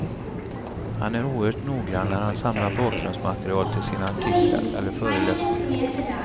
Han är oerhört noggrann när han samlar bakgrundsmaterial till sina artiklar eller föreläsningar.